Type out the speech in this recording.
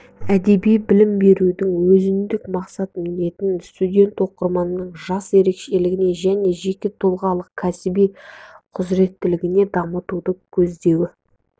әдеби білім берудің өзіндік мақсат-міндеттері студент-оқырманның жас ерекшелігіне және жеке тұлғалық кәсіби құзыреттілігін дамытуды көздеуі